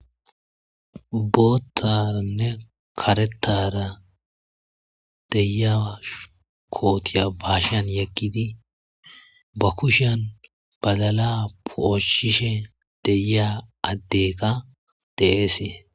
boottarnne karetara deyaa kootiya baashan yakkidi ba kushan badala pooshishe deya addeka deesee